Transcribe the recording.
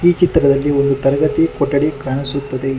ಚಿತ್ರದಲ್ಲಿ ಒಂದು ತರಗತಿ ಕೊಠಡಿ ಕಾಣಿಸುತ್ತದೆ.